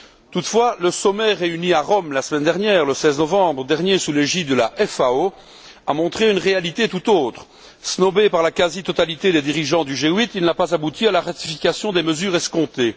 Toutefois, le sommet réuni à Rome la semaine dernière, le 16 novembre, sous l'égide de la FAO, a montré une réalité tout autre snobé par la quasi totalité des dirigeants du G8, il n'a pas abouti à la ratification des mesures escomptées.